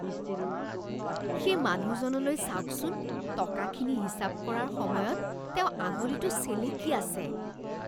সেই মানুহজনলৈ চাওকচোন। টকাখিনি হিচাপ কৰাৰ সময়ত তেওঁ আঙুলিটো চেলেকি আছে।